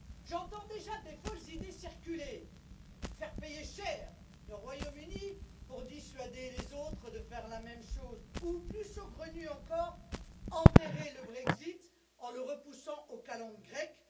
J'entends déjà des folles idées circuler faire payer cher le Royaume Uni pour dissuader les autres de faire la même chose ou, plus saugrenues encore, enterrer le Brexit en le repoussant aux calendes grecques.